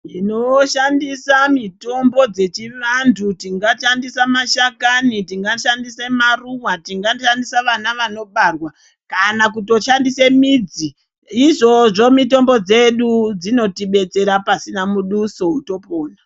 Tinoshandisa mitombo dzechivantu. Tingashandise mashakani, tingashandise maruva, tingashandise vana vanobarwa. Kana kutoshandise midzi, izvozvo mitombo dzedu dzinototibetsera pasina muduso topona.